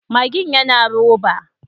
Magin yana roba.